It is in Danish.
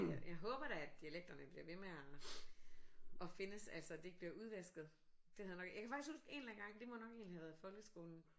Jeg jeg håber da at dialekterne bliver ved med at at findes altså det ikke bliver udvasket det havde jeg nok jeg kan faktisk huske en eller anden gang det må nok egentlig have været i folkeskolen